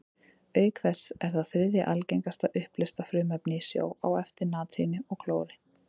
Auk þess er það þriðja algengasta uppleysta frumefnið í sjó, á eftir natríni og klóri.